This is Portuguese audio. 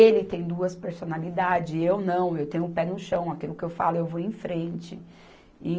Ele tem duas personalidades, eu não, eu tenho o pé no chão, aquilo que eu falo eu vou em frente.